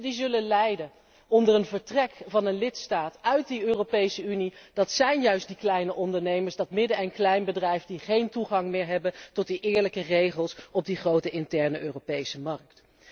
De eersten die zullen lijden onder het vertrek van een lidstaat uit de Europese Unie zijn juist de kleine ondernemers, de kleine en middelgrote ondernemingen, die geen toegang meer hebben tot de eerlijke regels op de grote interne Europese markt.